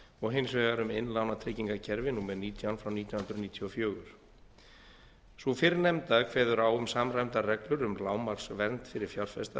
og hins vegar um innlánatryggingakerfi númer nítján frá nítján hundruð níutíu og fjórar sú fyrrnefnda kveður á um samræmdar reglur um lágmarksvernd fyrir fjárfesta